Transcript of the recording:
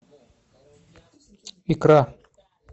икра